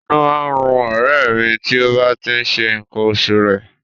Inú má ń run ọ̀rẹ́ ẹ̀ mi tí ó bá tí ń ṣe nǹkan oṣù rẹ̀